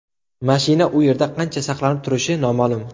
Mashina u yerda qancha saqlanib turishi noma’lum.